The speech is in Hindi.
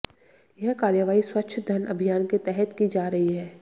यह कार्रवाई स्वच्छ धन अभियान के तहत की जा रही है